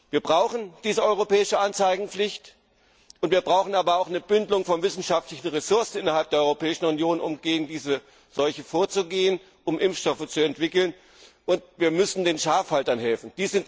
Wir brauchen diese europäische Anzeigepflicht, wir brauchen aber auch eine Bündelung von wissenschaftlichen Ressourcen innerhalb der Europäischen Union, um gegen diese Seuche vorzugehen und um Impfstoffe zu entwickeln, und wir müssen den Schafhaltern helfen.